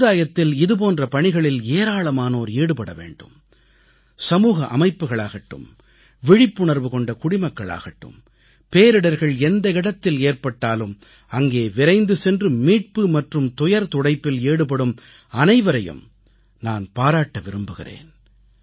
சமுதாயத்தில் இது போன்ற பணிகளில் ஏராளமானோர் ஈடுபட வேண்டும் சமூக அமைப்புகளாகட்டும் விழிப்புணர்வு கொண்ட குடிமக்களாகட்டும் பேரிடர்கள் எந்த இடத்தில் ஏற்பட்டாலும் அங்கே விரைந்து சென்று மீட்பு மற்றும் துயர்துடைப்பில் ஈடுபடும் அனைவரையும் நான் பாராட்ட விரும்புகிறேன்